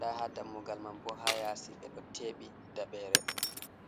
ɗa ha dammugal man bo ha yasi ɓe ɗo teɓi daɓere.